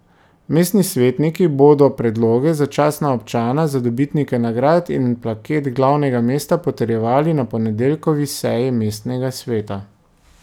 Mestni svetniki bodo predloge za častna občana, za dobitnike nagrad in plaket glavnega mesta potrjevali na ponedeljkovi seji mestnega sveta.